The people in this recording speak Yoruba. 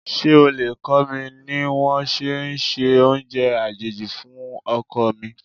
Ṣé o lè kó mi ní wón ṣe ẹ se oúnjẹ àjèjì fún ọkọ mi?